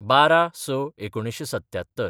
१२/०६/१९७७